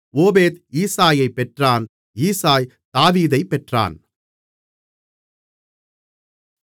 ஓபேத் ஈசாயைப் பெற்றான் ஈசாய் தாவீதைப் பெற்றான்